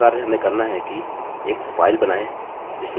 या तो right click करें और या नया टेक्स्ट डाक्युमेन्ट बनाएँ